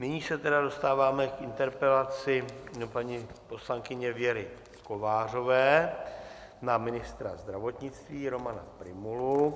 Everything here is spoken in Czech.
Nyní se tedy dostáváme k interpelaci paní poslankyně Věry Kovářové na ministra zdravotnictví Romana Prymulu.